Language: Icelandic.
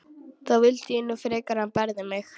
Þá vildi ég nú frekar að hann berði mig.